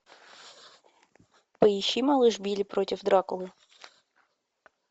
поищи малыш билли против дракулы